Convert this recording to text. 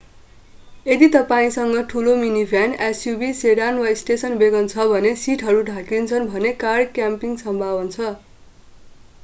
यदि तपाईंसँग ठूलो मिनीभ्यान suv सेडान वा स्टेसन वेगन छ जसको सीटहरू ढल्किन्छन् भने कार क्याम्पिंग सम्भव हुन्छ